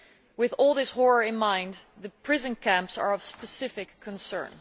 With all this horror in mind, the prison camps are of specific concern.